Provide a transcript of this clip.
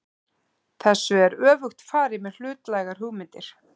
Þessu er öfugt farið með hlutlægar hugmyndir.